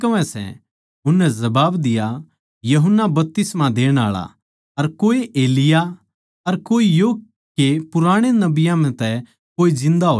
उननै जबाब दिया यूहन्ना बपतिस्मा देण आळा अर कोए एलिय्याह अर कोए यो के पुराणे नबियाँ म्ह तै कोए जिन्दा होया सै